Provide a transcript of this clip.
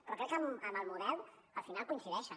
però crec que en el model al final coincideixen